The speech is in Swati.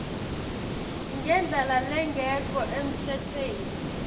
ngendlela lengekho emtsetfweni